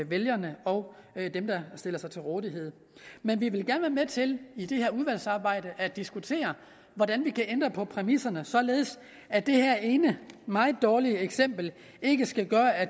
vælgerne og dem der stiller sig til rådighed men vi vil gerne være med til i det her udvalgsarbejde at diskutere hvordan vi kan ændre på præmisserne således at det her ene meget dårlige eksempel ikke skal gøre at